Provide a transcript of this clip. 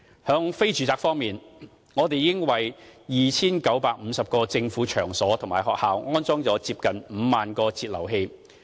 在非住宅方面，我們已為 2,950 個政府場所及學校安裝了接近5萬個節流器。